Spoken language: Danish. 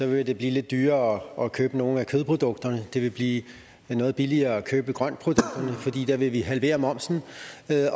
vil det blive lidt dyrere at købe nogle af kødprodukterne det vil blive noget billigere at købe grøntprodukterne fordi der vil vi halvere momsen